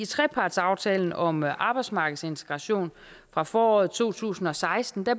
trepartsaftalen om arbejdsmarkedsintegration fra foråret to tusind og seksten